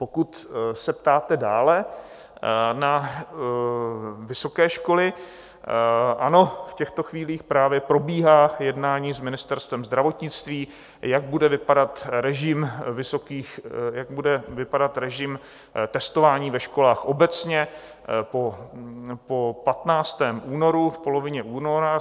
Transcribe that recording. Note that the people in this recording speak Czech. Pokud se ptáte dále na vysoké školy, ano, v těchto chvílích právě probíhá jednání s Ministerstvem zdravotnictví, jak bude vypadat režim testování ve školách obecně po 15. únoru, v polovině února.